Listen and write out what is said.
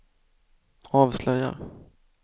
avslöjar